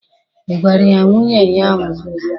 I gwara ya na nwunye ya a nwụọla?